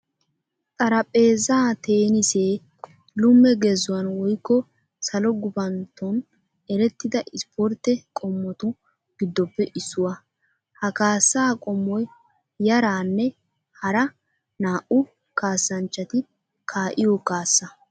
Xaraphpheezaa teenisee lume gezuwan woykko salo gufantton erettida isipportte qommotu giddoppe issuwaa. Ha kaassaa qommoy yaaranne haara naa'u kaassanchchati kaa"iyo kaassa.